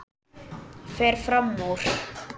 Fer fram úr.